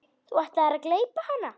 Þú ætlaðir að gleypa hana.